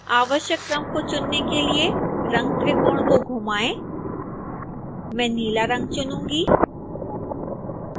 आवश्यक क्रम को चुनने के लिए रंगत्रिकोण को घुमाएं मैं नीला रंग चुनूंगी